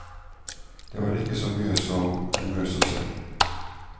Det var ikke så mye som en mus å se.